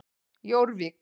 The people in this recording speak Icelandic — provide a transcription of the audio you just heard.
Jórvík